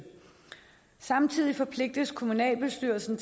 samtidig forpligtes kommunalbestyrelsen